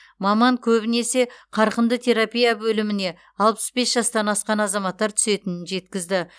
маман көбінесе қарқынды терапия бөліміне алпыс бес жастан асқан азаматтар түсетінін жеткізді